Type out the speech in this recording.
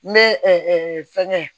N bɛ fɛngɛ